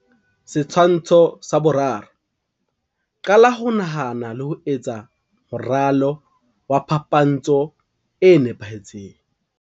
Setshwantsho sa 3. qala ho nahana le ho etsa moralo wa phapantsho e nepahetseng.